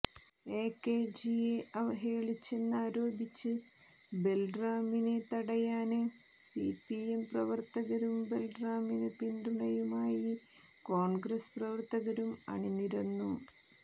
എകെജിയെ അവഹേളിച്ചെന്നാരോപിച്ച് ബല്റാമിനെ തടയാന് സിപിഎം പ്രവര്ത്തകരും ബല്റാമിനു പിന്തുണയുമായി കോണ്ഗ്രസ്സ് പ്രവര്ത്തകരും അണിനിരന്നു